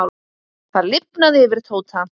Það lifnaði yfir Tóta.